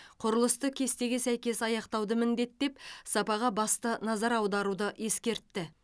құрылысты кестеге сәйкес аяқтауды міндеттеп сапаға басты назар аударуды ескертті